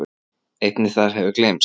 Einnig það hefur gleymst.